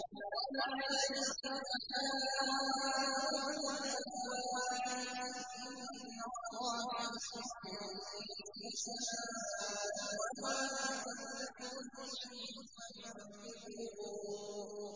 وَمَا يَسْتَوِي الْأَحْيَاءُ وَلَا الْأَمْوَاتُ ۚ إِنَّ اللَّهَ يُسْمِعُ مَن يَشَاءُ ۖ وَمَا أَنتَ بِمُسْمِعٍ مَّن فِي الْقُبُورِ